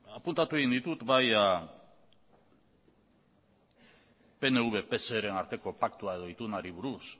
apuntatu egin ditut bai pnv pseren arteko paktua edo itunari buruz